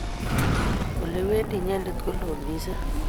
Ole iwendi inyendet koloo missing.